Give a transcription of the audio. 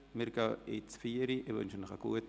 Wir gehen in die Pause.